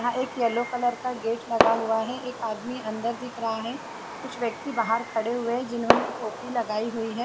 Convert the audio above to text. यहाँ एक yellow colour का गेट लगा हुआ है एक आदमी अंदर दिख रहा है कुछ व्यक्ति बाहर खड़े हुए है जिन्होंने टोपी लगाई हुई है।